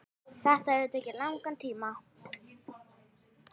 Þetta hefur tekið langan tíma.